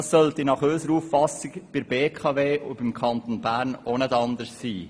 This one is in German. Das sollte nach unserer Auffassung bei der BKW und dem Kanton Bern auch nicht anders sein.